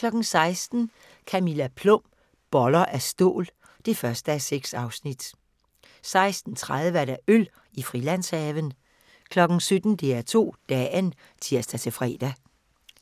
16:00: Camilla Plum – Boller af stål (1:6) 16:30: Øl i Frilandshaven 17:00: DR2 Dagen (tir-fre)